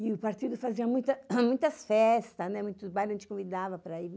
E o partido fazia muitas festas, muitos bailes, a gente convidava para ir.